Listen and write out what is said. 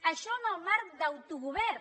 això en el marc d’autogovern